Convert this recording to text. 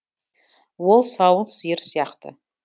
ол сауын сиыр сияқты